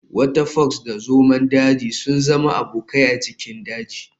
Wata fox da zomo daji sun zama abokai a cikin daji.